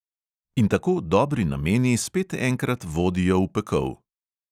In tako dobri nameni spet enkrat vodijo v pekel.